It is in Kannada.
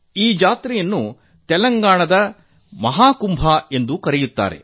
ಈ ಜಾತ್ರೆಯನ್ನು ತೆಲಂಗಾಣದ ಮಹಾಕುಂಭವೆಂದು ಕರೆಯಲಾಗುವುದು